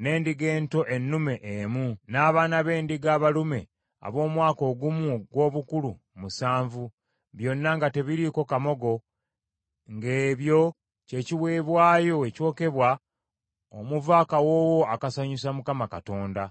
n’endiga ento ennume emu, n’abaana b’endiga abalume ab’omwaka ogumu ogw’obukulu musanvu, byonna nga tebiriiko kamogo ng’ebyo kye kiweebwayo ekyokebwa omuva akawoowo akasanyusa Mukama Katonda.